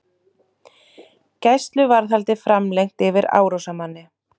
Gæsluvarðhald framlengt yfir árásarmanni